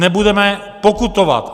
Nebudeme pokutovat!